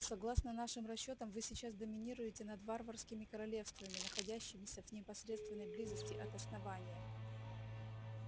согласно нашим расчётам вы сейчас доминируете над варварскими королевствами находящимися в непосредственной близости от основания